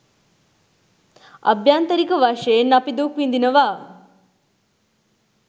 අභ්‍යන්තරික වශයෙන් අපි දුක් විඳිනවා